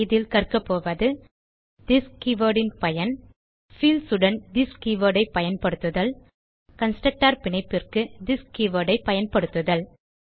இதில் கற்கபோவது this keyword ன் பயன் பீல்ட்ஸ் உடன் திஸ் கீவர்ட் ஐ பயன்படுத்துதல் கன்ஸ்ட்ரக்டர்ஸ் பிணைப்பிற்கு திஸ் கீவர்ட் ஐ பயன்படுத்துதல்